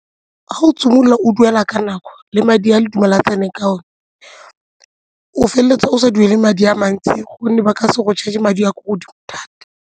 Ga o simolola o duela ka nako le madi a le dumelane ka one o feleletsa o sa duele madi a mantsi gonne ba ka se go charge madi a kwa godimo thata.